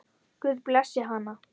Guð blessi hana.